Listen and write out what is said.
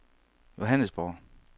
Johannesborg